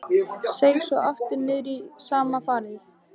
Seig svo aftur niður í sama farið.